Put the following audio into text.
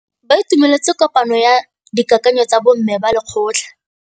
Ba itumeletse kôpanyo ya dikakanyô tsa bo mme ba lekgotla.